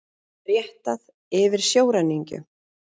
Réttað yfir sjóræningjum